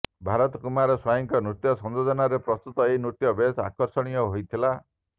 ପ୍ରଭାତ କୁମାର ସ୍ବାଇଁଙ୍କ ନୃତ୍ୟ ସଂଯୋଜନାରେ ପ୍ରସ୍ତୁତ ଏହି ନୃତ୍ୟ ବେଶ୍ ଆକର୍ଷଣୀୟ ହୋଇଥିଲା